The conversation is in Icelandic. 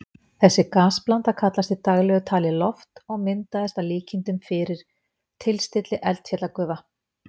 Þessi gasblanda kallast í daglegu tali loft og myndaðist að líkindum fyrir tilstilli eldfjallagufa.